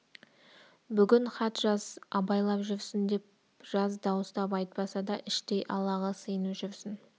бүгін хат жаз абайлап жүрсін деп жаз дауыстап айтпаса да іштей аллаға сиынып жүрсін